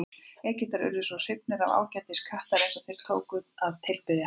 Egyptar urðu svo hrifnir af ágæti kattarins að þeir tóku að tilbiðja hann.